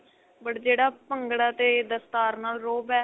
but ਜਿਹੜਾ ਭੰਗੜਾ ਤੇ ਦਸਤਾਰ ਨਾਲ ਰੋਹਬ ਏ